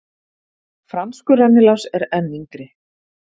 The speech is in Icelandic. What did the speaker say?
Franskur rennilás er enn yngri.